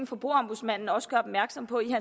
forbrugerombudsmanden også gør opmærksom på i